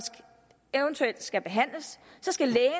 eventuelt skal behandles skal lægen